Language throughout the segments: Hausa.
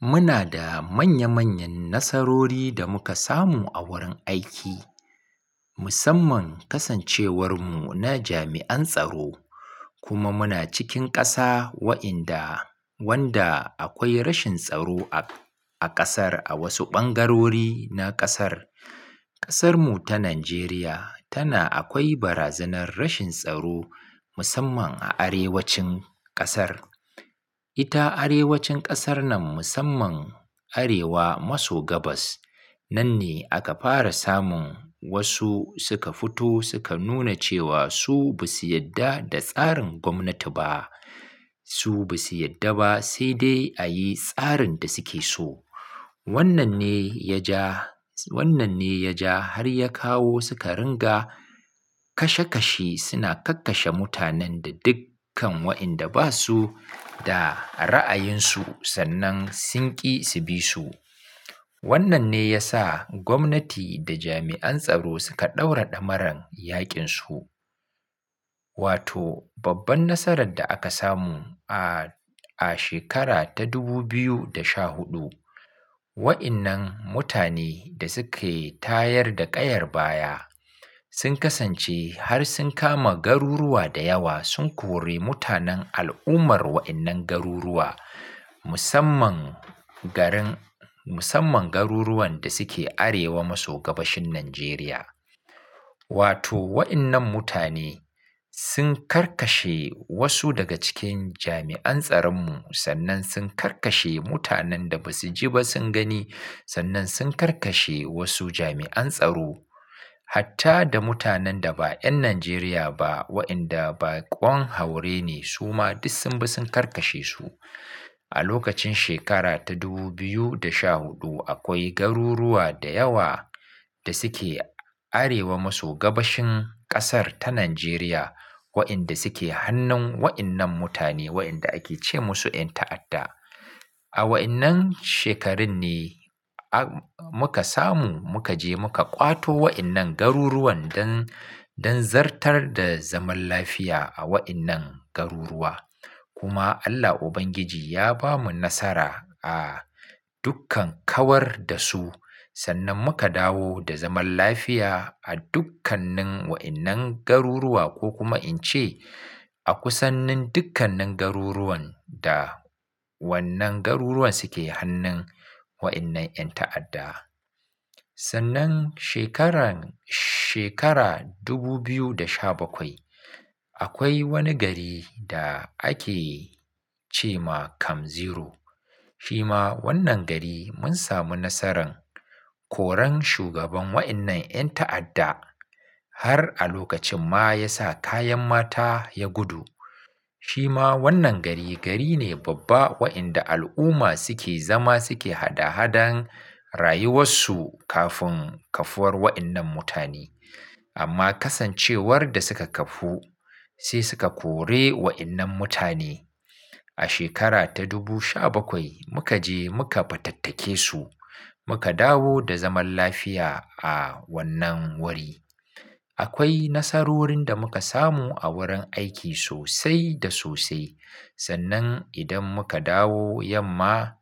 Muna da manya-manyan nasarori da muka samu a wurin aiki. Musamman kasancewarmu na jami'an tsaro kuma muna cikin ƙasa wa inda wanda akwai rashin tsaro a ƙasar, a wasu ɓangarori na ƙasar. Ƙasar mu ta Najeriya tana akwai barazanar rashin tsaro musamman a arewacin ƙasar. Ita arewacin ƙasar nan musamman arewa maso gabas. Nan ne aka fara samun wasu suka fito suka nuna cewa su ba su yarda da tsarin gwamnati ba. Su ba su yarda ba sai dai a yi tsarin da suke so. Wannan ne ya ja, wannan ne ya ja har ya kawo suka ringa kashe-kashe. Suna kakkashe mutanen da dukkan wa inda ba su da ra'ayin su sannan sinki su bi su. Wannan ne ya sa gwamnati da jami'an tsaro suka ɗaura ɗamaran yaƙin su. Wato babban nasarar da aka samu a, a shekara ta dubu biyu da sha huɗu. Wa'innan mutane da suke tayar da ƙayar baya sun kasance har sun kama garuruwa da yawa, sun kore mutanen al'ummar wa'innan garuruwa musamman garin, musamman garuruwan da suke arewa maso gabashin Najeriya. Wato wa'innan mutane sun karkashe wasu daga cikin jami'an tsaron mu sannan sun karkashe mutanen da ba su ji ba sun gani sannan sun karkashe wasu jami'an tsaro. Hatta da mutanen da ba 'yan Najeriya ba wa'inda baƙon haure ne su ma duk sun bi sun karkashe su. A lokacin shekara ta dubu biyu da sha huɗu akwai garuruwa da yawa da suke arewa maso gabashin ƙasar ta Najeriya wa'inda suke hannun wa'innan mutane wa'inda ake ce musu 'yan ta'adda. A wa'innan shekarun ne muka samu muka je muka ƙwato wa'innan garuruwan don, don zartar da zaman lafiya a wa'innan garuruwa. Kuma Allah Ubangiji ya bamu nasara a dukkan kawar da su sannan muka dawo da zaman lafiya a dukkanin wa'innan garuruwa ko kuma in ce a kusanin dukkanin garuruwan da wannan garuruwan suke hannun wa'innan 'yan ta'adda. Sannan shekaran, shekara dubu biyu da sha bakwai akwai wani gari da ake ce ma Kam Zero. Shi ma wannan gari mun samu nasaran koran shugaban wa'innan 'yan ta'adda har a lokacin ma ya sa kayan mata ya gudu. Shi ma wannan gari, gari ne babba wa'inda al'umma suke zama suke hada-hadan rayuwasu kafin kafuwar wa'innan mutane. Amma kasancewar da suka kafu sai suka kore wa'innan mutane. A shekara ta dubu sha bakwai muka je muka fatattake su muka dawo da zaman lafiya a wannan wari. Akwai nasarorin da muka samu a wurin aiki sosai da sosai. Sannan idan muka dawo yamma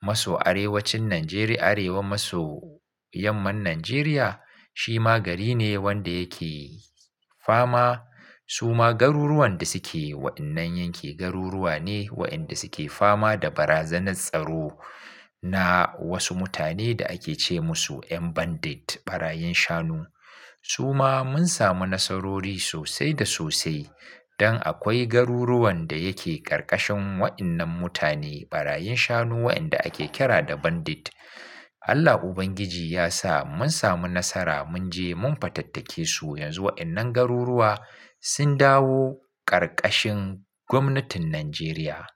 maso arewacin Najeriya, arewa maso yamman Najeriya shi ma gari ne wanda yake fama suma garuruwan da suke wa'innan yanke garuruwa ne wa'inda suke fama da barazanar tsaro na wasu mutane da ake ce musu 'yan bandit, ɓarayin shanu. Suma mun samu nasarori sosai da sosai don akwai garuruwan da yake karkashin wa'innan mutane ɓarayin shanu wa'inda ake kira da bandit. Allah Ubangiji ya sa mun samu nasara mun je mun fatattake su yanzu wa'innan garuruwa sun dawo karkashin gwamnatin Najeriya.